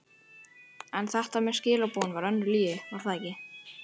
En þetta með skilaboðin var önnur lygi, var það ekki?